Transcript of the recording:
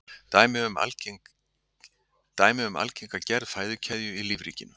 Dæmi um algenga gerð fæðukeðju í lífríkinu.